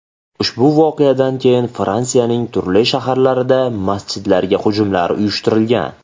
Ushbu voqeadan keyin Fransiyaning turli shaharlarida masjidlarga hujumlar uyushtirilgan .